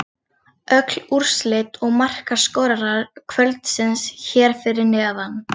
Öll úrslit og markaskorarar kvöldsins hér fyrir neðan: